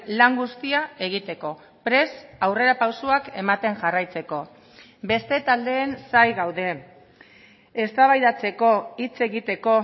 lan guztia egiteko prest aurrerapausoak ematen jarraitzeko beste taldeen zain gaude eztabaidatzeko hitz egiteko